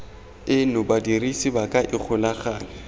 eno badirisi ba ka ikgolaganya